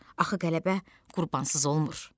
Axı qələbə qurbansız olmur.